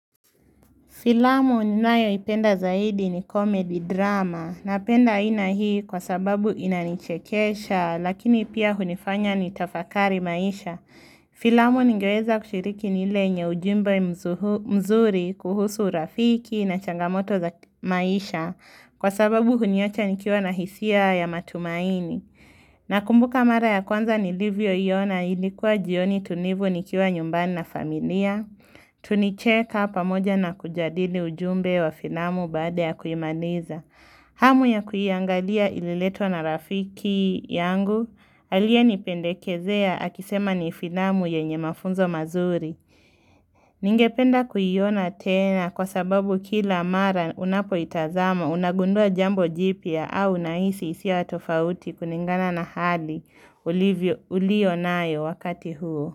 Filamu ninayo ipenda zaidi ni comedy drama. Napenda aina hii kwa sababu inanichekesha lakini pia hunifanya nitafakari maisha. Filamu ningeweza kushiriki ni ile yenye ujumbe mzuri kuhusu urafiki na changamoto za maisha kwa sababu huniacha nikiwa na hisia ya matumaini. Nakumbuka mara ya kwanza nilivyo iona ilikuwa jioni tulivu nikiwa nyumbani na familia. Tulicheka pamoja na kujadili ujumbe wa filamu baada ya kuimaliza. Hamu ya kuiangalia ililetwa na rafiki yangu aliye nipendekezea akisema ni filamu yenye mafunzo mazuri. Ningependa kuiona tena kwa sababu kila mara unapoitazama unagundua jambo jipya au unahisi hisia tofauti kulingana na hali ulionayo wakati huo.